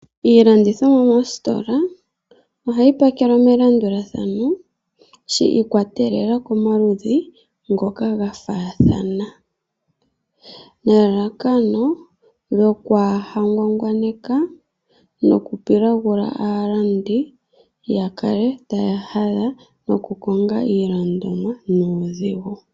Iilandithomwa moostola ohayi pakelwa melandulathano shi ikwatelela komaludhi ngoka ga faathana nelalakano opo aalandi kaangwangwane yo yakale taya hadha noku konga iilandomwa nuudhigu.